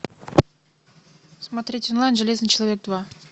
смотреть онлайн железный человек два